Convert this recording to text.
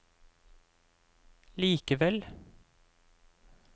likevel